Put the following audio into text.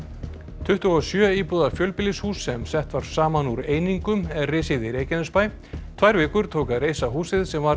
tuttugu og sjö íbúða fjölbýlishús sem sett var saman úr einingum er risið í Reykjanesbæ tvær vikur tók að reisa húsið sem var